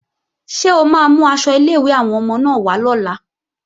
Ṣé o máa mú aṣọ ilé-ìwé àwọn ọmọ náà wá lọ́la?